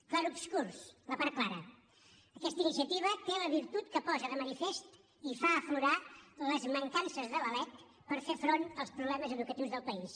clarobscurs la part clara aquesta iniciativa té la virtut que posa de manifest i fa aflorar les mancances de la lec per fer front als problemes educatius del país